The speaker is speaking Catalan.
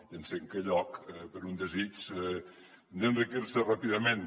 i en cinquè lloc per un desig d’enriquir se ràpidament